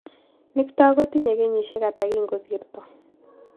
Nick too ko kitinye kenyisyek ata kin kosirto